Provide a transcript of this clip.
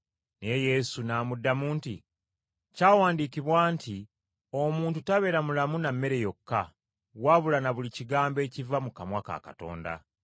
Naye Yesu n’amuddamu nti, “Kyawandiikibwa nti: ‘Omuntu tabeera mulamu na mmere yokka, wabula na buli kigambo ekiva mu kamwa ka Katonda.’ ”